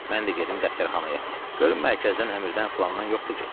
Mən də gedim dəftərxanaya, görüm mərkəzdən əmirdən filandan yoxdur ki?